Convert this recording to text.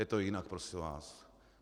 Je to jinak, prosím vás.